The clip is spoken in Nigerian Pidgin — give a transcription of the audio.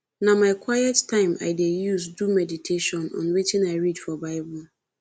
na my quiet time i dey use do medition on wetin i read for bible